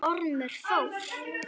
Ormur fór.